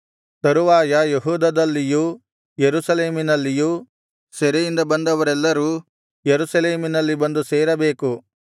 ತರುವಾಯ ಯೆಹೂದದಲ್ಲಿಯೂ ಯೆರೂಸಲೇಮಿನಲ್ಲಿಯೂ ಸೆರೆಯಿಂದ ಬಂದವರೆಲ್ಲರೂ ಯೆರೂಸಲೇಮಿನಲ್ಲಿ ಬಂದು ಸೇರಬೇಕು